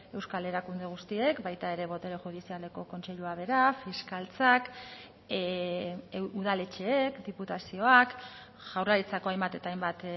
euskal erakunde guztiek baita ere botere judizialeko kontseilua bera fiskaltzak udaletxeek diputazioak jaurlaritzako hainbat eta hainbat